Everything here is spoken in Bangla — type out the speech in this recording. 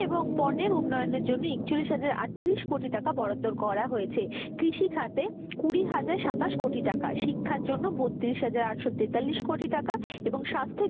এবং পণ্যের উন্নয়নের জন্য একচল্লিশ হাজার আটত্রিশ কোটি টাকা বরাদ্দ করা হয়েছে, কৃষি খাতে কুড়ি হাজার সাতাশ কোটি টাকা, শিক্ষার জন্য বত্রিশ হাজার আটশো তেতাল্লিশ কোটি টাকা এবং স্বাস্থ্যে,